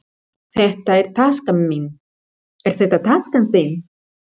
Hér er handklæðið mitt. Hvar er handklæðið þitt?